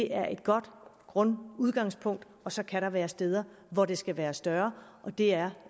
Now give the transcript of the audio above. er et godt grundudgangspunkt og så kan der være steder hvor det skal være større og det er